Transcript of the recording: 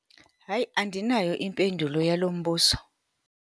Hayi! Andinayo impendulo yalo mbuzo.